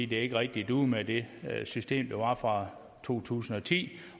det ikke rigtig duede med det system der var fra to tusind og ti